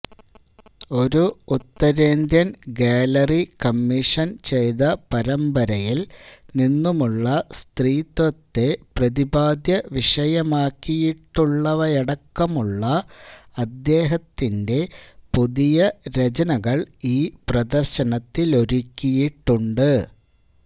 ഒരു ഉത്തരേന്ത്യന് gallery commission ചെയ്ത പരമ്പരയില് നിന്നുമുള്ള സ്ത്രീത്വത്തെ പ്രതിപാദ്യവിഷയമാക്കിയിട്ടുള്ളവയടക്കമുള്ള അദ്ദേഹത്തിന്റെ പുതിയ രചനകള് ഈ പ്രദര്ശനത്തിലൊരുക്കിയിട്ടുണ്ട്